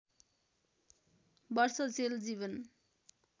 वर्ष जेल जीवन